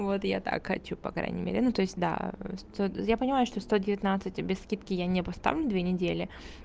вот я так хочу по крайней мере ну то есть да я понимаю что сто девятнадцать без скидки я не поставлю две недели